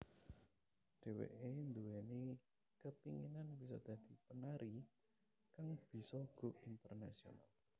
Dheweké nduweni kepinginan bisa dadi penari kang bisa go internasional